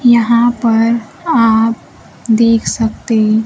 यहां पर आप देख सकते--